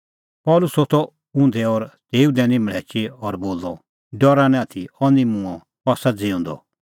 पल़सी होथअ उंधै और तेऊ लै दैनी मल़्हैची और बोलअ डरा निं आथी अह निं मूंअ अह आसा ज़िऊंदअ